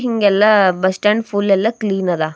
ಹಿಂಗೆಲ್ಲಾ bus stand full ಎಲ್ಲಾ clean ಅದ.